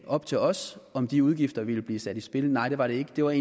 op til os om de udgifter ville blive sat i spil nej det var det ikke det var